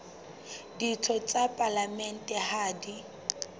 ditho tsa palamente ha di